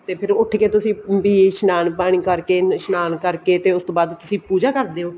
ਤੇ ਫ਼ੇਰ ਉੱਠ ਕੇ ਤੁਸੀਂ ਅਮ ਵੀ ਇਸ਼ਨਾਨ ਪਾਣੀ ਕਰਕੇ ਇਸ਼ਨਾਨ ਕਰਕੇ ਤੇ ਉਸਤੋਂ ਬਾਅਦ ਤੁਸੀਂ ਪੂਜਾ ਕਰਦੇ ਹੋ